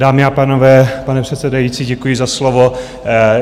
Dámy a pánové, pane předsedající, děkuji za slovo.